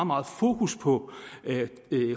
meget fokus på